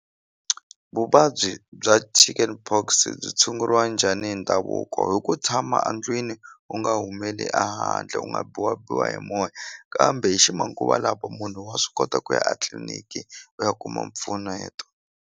Vuvabyi bya chicken pox byi tshunguriwa njhani hi ndhavuko hi ku tshama andlwini u nga humeleli a handle u nga biwabiwa hi moya kambe hi ximanguva lawa munhu wa swi kota ku ya atliliniki u ya kuma mpfuneto.